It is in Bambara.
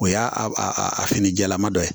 O y'a a a a fini jɛlama dɔ ye